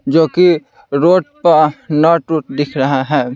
जो कि रोड प न टूट दिख रहा है ।